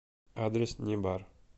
адрес небар